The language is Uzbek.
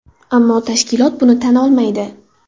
Ammo tashkilot buni tan olmaydi.